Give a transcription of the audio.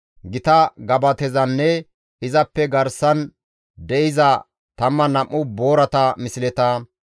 Gita gabatezanne izappe garsan de7iza 12 boorata misleta,